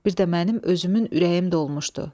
Bir də mənim özümün ürəyim dolmuşdu.